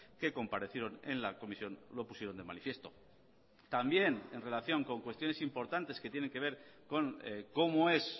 que comparecieron en la comisión lo pusieron de manifiesto también en relación con cuestiones importantes que tienen que ver con cómo es